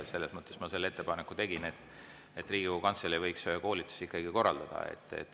Selles mõttes ma selle ettepaneku tegin, et Riigikogu Kantselei võiks ühe koolituse ikkagi korraldada.